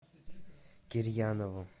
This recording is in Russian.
кирьянову